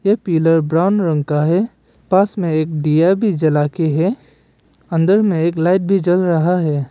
ये pillar brown रंग का है पास में एक दिया भी जला के है अंदर में एक लाइट भी जल रहा है।